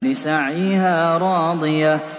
لِّسَعْيِهَا رَاضِيَةٌ